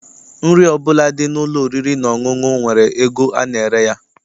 Nri ọbụla dị n'ụlọ oriri na ọṅụṅụ nwere ego ana-ere ya.